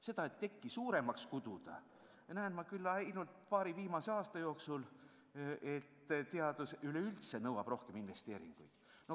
Seda, et tekki oleks hakatud suuremaks kuduma, sest teadus üleüldse nõuab suuremaid investeeringuid, olen ma näinud küll ainult paari viimase aasta jooksul.